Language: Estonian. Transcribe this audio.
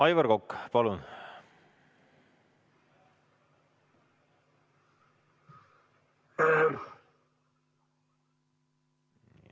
Aivar Kokk, palun!